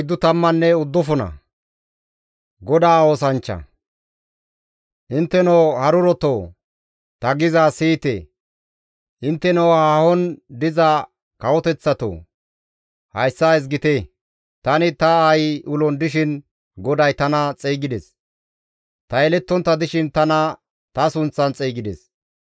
Intteno harurotoo, ta gizayssa siyite. Intteno haahon diza kawoteththatoo, hayssa ezgite. Tani ta aayi ulon dishin GODAY tana xeygides; ta yelettontta dishin tana ta sunththan xeygides.